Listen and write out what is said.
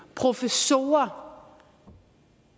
professorer